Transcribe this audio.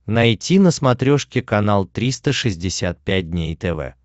найти на смотрешке канал триста шестьдесят пять дней тв